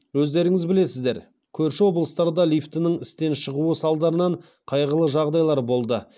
өздеріңіз білесіздер көрші облыстарда лифттің істен шығуы салдарынан қайғылы жағдайлар болды